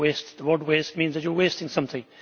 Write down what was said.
The word waste means that you are wasting something.